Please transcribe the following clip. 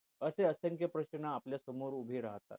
असे असंख्य प्रश्न आपल्या समोर उभे राहतात